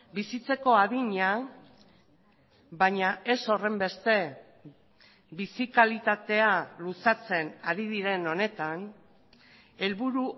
bizitzeko adina baina ez horrenbeste bizi kalitatea luzatzen ari diren honetan helburu